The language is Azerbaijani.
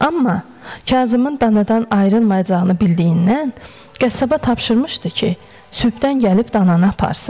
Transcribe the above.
Amma Kazımın danadan ayrılmayacağını bildiyindən, qəssaba tapşırmışdı ki, sübhdən gəlib dananı aparsın.